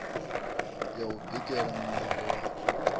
ya u bikela muṋango wa